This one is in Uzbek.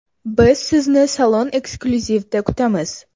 Biz sizni Salon Exclusive’da kutamiz!